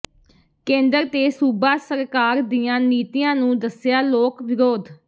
ਕੇਂਦਰ ਤੇ ਸੂਬਾ ਸਰਕਾਰ ਦੀਆਂ ਨੀਤੀਆਂ ਨੂੰ ਦੱਸਿਆ ਲੋਕ ਵਿਰੋਧ